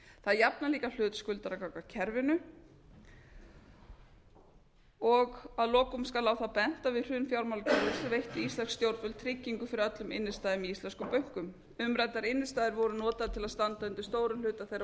það jafnar líka hlut skuldara gagnvart kerfinu að lokum skal á það bent að við hrun fjármálakerfisins veittu íslensk stjórnvöld tryggingu fyrir öllum innstæðum í íslensku bönkum umræddar innistæður voru notaðar til að standa undir stórum hluta þeirra